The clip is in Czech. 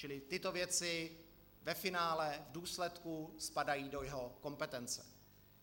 Čili tyto věci ve finále, v důsledku spadají do jeho kompetence.